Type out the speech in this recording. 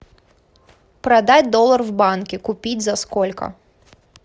продать доллар в банке купить за сколько